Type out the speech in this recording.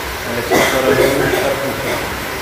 александр олегович карпухин